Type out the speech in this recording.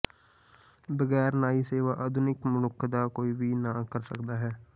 ਬਗੈਰ ਨਾਈ ਸੇਵਾ ਆਧੁਨਿਕ ਮਨੁੱਖ ਦਾ ਕੋਈ ਵੀ ਨਾ ਕਰ ਸਕਦਾ ਹੈ